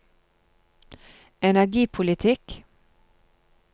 energipolitikk